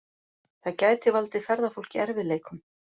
Það geti valdið ferðafólki erfiðleikum